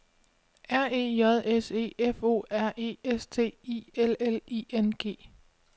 R E J S E F O R E S T I L L I N G